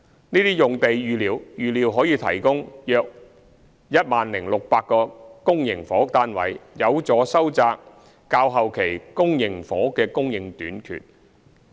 這些用地預料可提供約 10,600 個公營房屋單位，有助收窄較後期公營房屋的供應短缺。